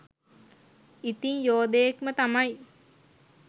ඉතිං යෝදයෙක් ම තමයි.